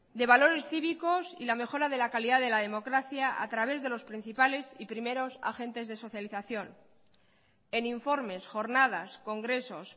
de valores cívicos y la mejora de la calidad de la democracia a través de los principales y primeros agentes de socialización en informes jornadas congresos